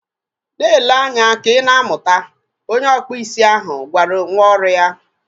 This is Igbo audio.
Na-ele anya ka ị na amụta! Onye ọkpụ isi ahụ gwara nwa ọrụ ya